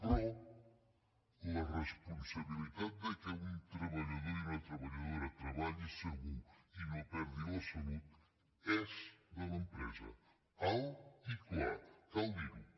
però la responsabilitat que un treballador i una treballadora treballi segur i no perdi la salut és de l’empresa alt i clar cal dir ho